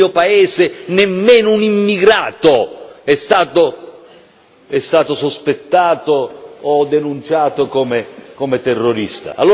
Nel mio paese nemmeno un immigrato è stato sospettato o denunciato come terrorista.